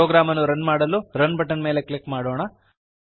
program ಅನ್ನು run ಮಾಡಲು run button ಮೇಲೆ ಕ್ಲಿಕ್ ಮಾಡೋಣ